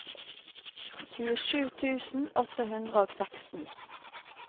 tjuesju tusen åtte hundre og seksten